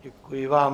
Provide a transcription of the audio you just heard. Děkuji vám.